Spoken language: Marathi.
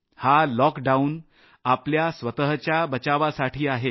हा लॉकडाऊन आपल्या स्वतःच्या बचावासाठी आहे